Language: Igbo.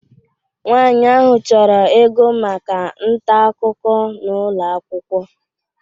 Nwaanyị ahụ chọrọ ịgụ maka ntaakụkọ n'ụlọ akwụkwọ